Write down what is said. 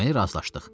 Deməli, razılaşdıq.